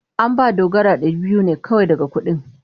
An ba Dogara dari biyu ne kawai daga cikin kudin.